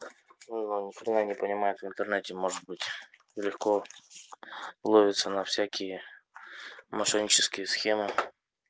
ну он ни хрена не понимает в интернете может быть легко ловится на всякие мошеннические схемы